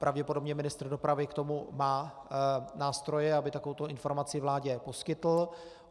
Pravděpodobně ministr dopravy k tomu má nástroje, aby takovouto informaci vládě poskytl.